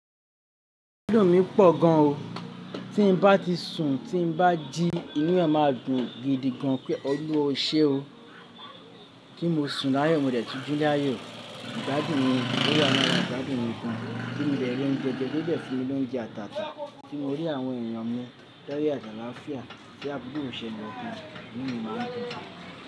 Àbúrò mi pọ̀ gan o. Tí n bá ti sùn, tí n bá jí, inu e máa dùn gidi gan pé oluwa oṣe o. Kí n mo sùn láàyò mo dè ẹ́ tú jù láàyò. Igbádùn mi ló wa làrà, ìgbádùn mi gùn. Tí n bẹ̀rẹ̀ oúnjẹ, jẹ́jẹ́ ode fun mi ni oúnjẹ àtàtà. Tí mo rí àwọn èèyàn mọ́ layo àti àlàáfíà, tí àbúrò ṣe ń dùn, mí mi máa ń dùn.